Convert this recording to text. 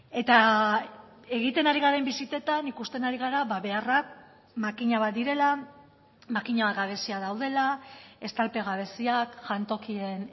eta egiten ari garen bisitetan ikusten ari gara beharrak makina bat direla makina bat gabezia daudela estalpe gabeziak jantokien